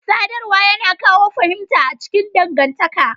Sadarwa yana kawo fahimta a cikin dangantaka.